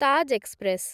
Taj express